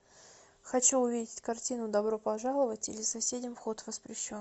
хочу увидеть картину добро пожаловать или соседям вход воспрещен